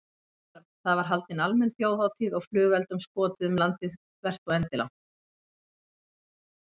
Það var haldin almenn þjóðhátíð og flugeldum skotið um landið þvert og endilangt.